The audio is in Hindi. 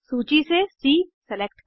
सूची से सी सेलेक्ट करें